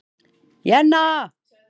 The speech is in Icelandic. Jenna